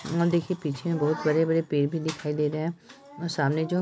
और देखिए पीछे में बहुत बड़े-बड़े पेड़ भी दिखाई दे रहे हैं और सामने जो--